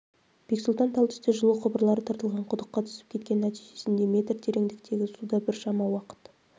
бексұлтан тал түсте жылу құбырлары тартылған құдыққа түсіп кеткен нәтижесінде метр тереңдіктегі суда біршама уақыт